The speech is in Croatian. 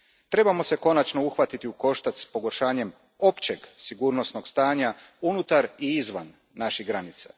Trebamo se konačno uhvatiti u koštac s pogoršanjem općeg sigurnosnog stanja unutar i izvan naših granica.